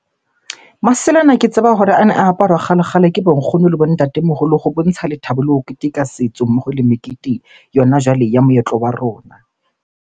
Masela ana ke tseba hore ana a aparwa kgale-kgale ke bo nkgono le bo ntatemoholo ho bontsha lethabo le ho keteka setso, mmoho le mekete yona jwale ya moetlo wa rona.